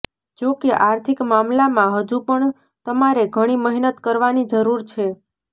જોકે આર્થિક મામલામાં હજુ પણ તમારે ઘણી મહેનત કરવાની જરૂર છે